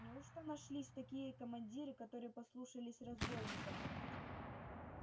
неужто нашлись такие командиры которые послушались разбойника